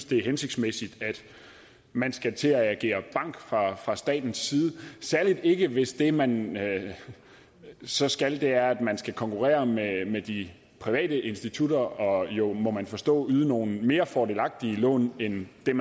det er hensigtsmæssigt at man skal til at agere bank fra fra statens side særlig ikke hvis det man så skal er at man skal konkurrere med med de private institutter og jo må jeg forstå yde nogle mere fordelagtige lån end dem